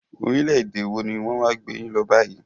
Orílẹ̀-èdè wọ ní wọn wá gbé yín lọ báyìí?